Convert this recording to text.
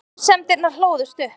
Grunsemdirnar hlóðust upp.